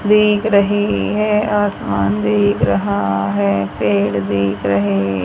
दिख रही है आसमान दिख रहा है पेड़ दिख रहे--